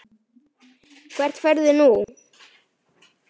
Hvert ferðu nú?